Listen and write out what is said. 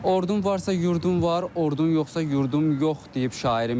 Ordun varsa yurdun var, ordun yoxsa yurdum yox deyib şairimiz.